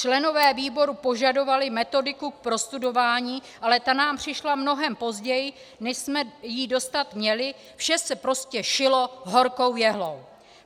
Členové výboru požadovali metodiku k prostudování, ale ta nám přišla mnohem později, než jsme ji dostat měli, vše se prostě šilo horkou jehlou.